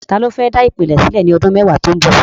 Ta ló fẹ́ dá ìpìlẹ̀ sílẹ̀ ní ọdún mẹ́wàá tó ń bọ̀?